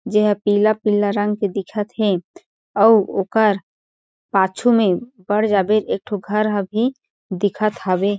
जेह पीला-पीला रंग दिखत हे ओर ओकर पाछू में बड़ जाबेर एक ठो घर ह भी दिखत हवे।